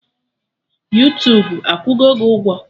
Yuutubu akwụgo gị ụgwọ?